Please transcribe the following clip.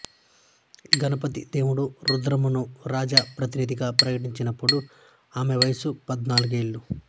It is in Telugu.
గణపతి దేవుడు రుద్రమను రాజప్రతినిధిగా ప్రకటించినప్పుడు ఆమె వయసు పద్నాలుగేళ్లే